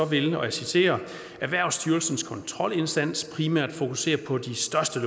vil og jeg citerer erhvervsstyrelsens kontrolindsats primært fokusere på de største